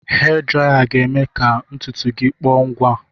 Hee draya ga-eme ka ntutu gị kpọọ ngwa